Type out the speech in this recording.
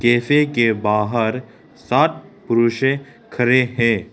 Cafe के बाहर सात पुरुष है खड़े हैं।